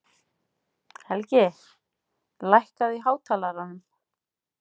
Helgi, lækkaðu í hátalaranum.